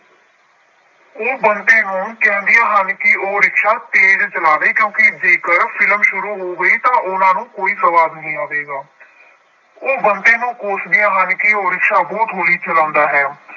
ਉਹ ਬੰਤੇ ਨੂੰ ਕਹਿੰਦੀਆਂ ਹਨ ਕਿ ਉਹ ਰਿਕਸ਼ਾ ਤੇਜ ਚਲਾਵੇ ਕਿਉਂਕਿ ਜੇਕਰ film ਸ਼ੁਰੂ ਹੋ ਗਈ ਤਾਂ ਉਹਨਾਂ ਨੂੰ ਕੋਈ ਸਵਾਦ ਨਹੀਂ ਆਵੇਗਾ ਉਹ ਬੰਤੇ ਨੂੰ ਕੋਸ਼ਦੀਆਂ ਹਨ ਕਿ ਉਹ ਰਿਕਸ਼ਾ ਬਹੁਤ ਹੌਲੀ ਚਲਾਉਂਦਾ ਹੈ।